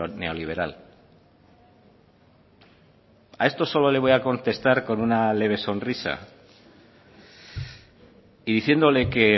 neoliberal a esto solo le voy a contestar con una leve sonrisa y diciéndole que